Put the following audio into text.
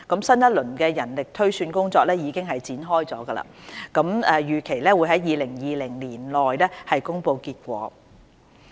新一輪人力推算工作已經展開，預期於2020年內公布結果。